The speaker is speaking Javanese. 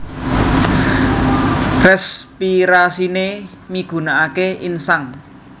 Respirasiné migunakaké insang